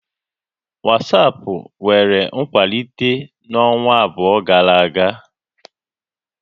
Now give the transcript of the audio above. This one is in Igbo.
WhatsApp nwere nkwalite n'ọnwa abụọ gara aga